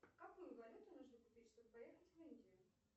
какую валюту нужно купить чтобы поехать в индию